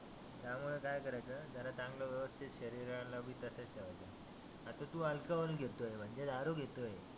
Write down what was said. त्यामुळ काय करायचं जरा व्यवस्थीत शरीराला बी तसच ठेवायचं. आता तु अल्कोहोल घेतो आहे म्हणजे दारु घेतो आहे